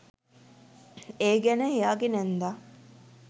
ඒ ගැන එයාගේ නැන්දා